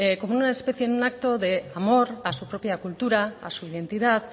como una especie en un acto de amor a su propia cultura a su identidad